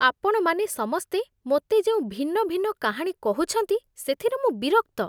ଆପଣମାନେ ସମସ୍ତେ ମୋତେ ଯେଉଁ ଭିନ୍ନ ଭିନ୍ନ କାହାଣୀ କହୁଛନ୍ତି, ସେଥିରେ ମୁଁ ବିରକ୍ତ ।